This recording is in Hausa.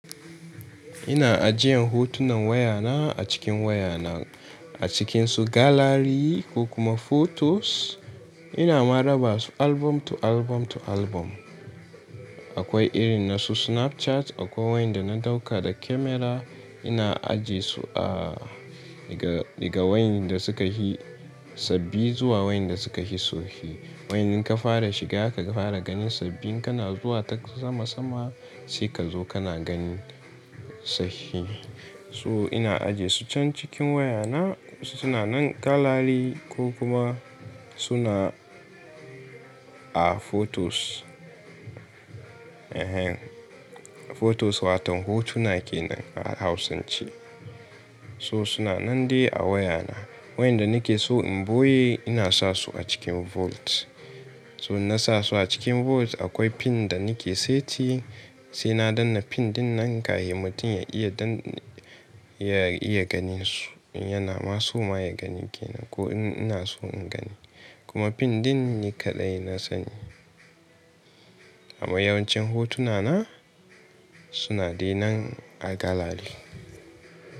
Ina ajiyan hotunan waya na a cikin waya na, a cikin su gallery ko kuma photos. Ina ma raba su album to album to album. Akwai irin nasu Snapchat, akwai waƴanda na ɗauka da camera. Ina ajiye su a daga wayanda suka fi sabbi zuwa waƴanda suka fi tsofi. Wai ina ka fara shiga ka fara ganin sabbin kana zuwa ta sama-sama sai ka zo kana ganin sabbi. To ina ajiye su can cikin waya na. Suna nan gallery ko kuma suna a photos. Ehen, photos wato hotuna kenan a Hausan ce. So suna nan dai a wayana. Waƴanda nake so in boye ina sa su a cikin vault. So na sa su a cikin vault akwai pin da nake seti. Sai na danne pin dinnan kahin mutum ya iya ganin su. In yana ma so ma ya gani kenan ko in ina so in gani. Kuma pin din ni kaɗai na sani. Amma yawan cin hotuna na suna dai nan a gallery.